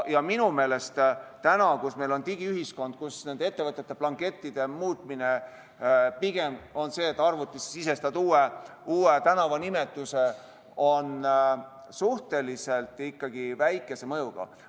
Minu meelest, kui meil on digiühiskond ja ettevõtete blankettide muutmine pigem on selline, et sisestad arvutisse uue tänavanimetuse, siis see on ikkagi suhteliselt väikese mõjuga.